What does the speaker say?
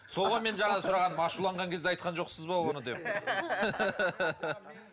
сол ғой менің жаңа сұрағаным ашуланған кезде айтқан жоқсыз ба оны деп